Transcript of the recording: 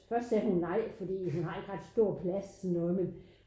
Først sagde hun nej fordi hun har ikke ret stor plads så noget med